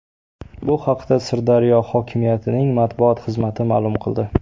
Bu haqda Sirdaryo hokimiyatining matbuot xizmati ma’lum qildi .